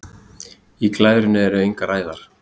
Í glærunni eru engar æðar.